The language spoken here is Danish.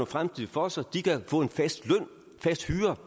fremtid for sig kan få en fast løn en fast hyre